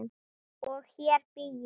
Og hér bý ég!